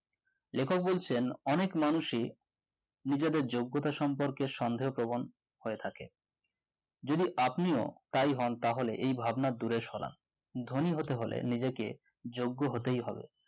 লেখক বলেছেন অনেক মানুষই নিজের যোগ্যতার সম্পর্কে সন্দেহ পবন হয়ে থাকে যদি আপনিও তাই হন তাহলে এই ভাবনা দূরে সরান ধনী হতে হলে নিজেকে যোগ্য হতেই হবে